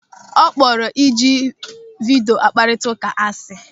Ọ kpọrọ ịji vidio akparita ụka asị.